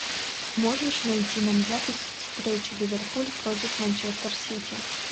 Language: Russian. можешь найти нам запись встречи ливерпуль против манчестер сити